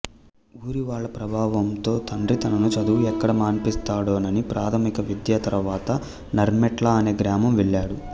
ఊరివాళ్ళ ప్రభావంతో తండ్రి తనను చదువు ఎక్కడ మానిపిస్తాడోనని ప్రాథమిక విద్య తర్వాత నర్మెట్ల అనే గ్రామం వెళ్ళాడు